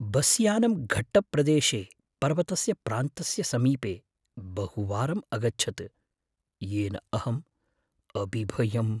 बस्यानं घट्टप्रदेशे पर्वतस्य प्रान्तस्य समीपे बहुवारम् अगच्छत्, येन अहम् अबिभयम्।